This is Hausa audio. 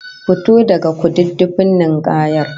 Fito daga kududdufin ninkayar!